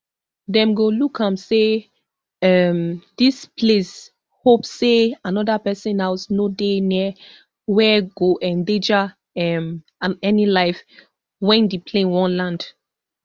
dem go look am say um dis place hope say anoda pesin house no dey near where go endanger um any life wen di plane wan land